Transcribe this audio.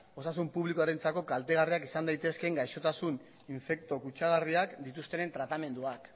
osasun publikorentzako kaltegarriak izan daitezke gaixotasun infekto kutsagarriak dituzten tratamenduak